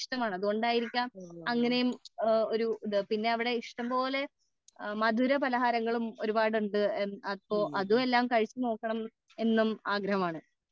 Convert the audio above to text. അതുകൊണ്ട് ആയിരിക്കാം അങ്ങനെയും ഒരു ഇത് പിന്നെ അവിടെ ഇഷ്ടം പോലെ മധുര പലഹാരങ്ങളും ഒരുപാട് ഉണ്ട് അപ്പോൾ അതും എല്ലാം കഴിച്ചു നോക്കണം എന്നും ആഗ്രഹമാണ്